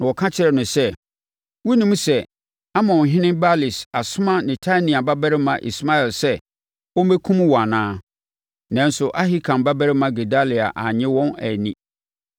na wɔka kyerɛɛ no sɛ, “Wonnim sɛ, Amonhene Baalis asoma Netania babarima Ismael sɛ, ɔmmɛkum wo anaa?” Nanso, Ahikam babarima Gedalia annye wɔn anni.